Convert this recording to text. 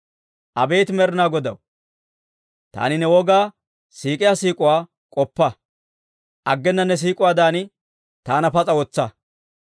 Abeet Med'inaa Godaw, taani ne wogaa siik'iyaa siik'uwaa k'oppa; aggena ne siik'uwaadan taana pas'a wotsa.